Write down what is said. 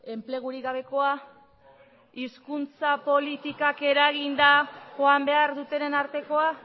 enplegurik gabekoa hizkuntza politikak eraginda joan behar dutenen artekoa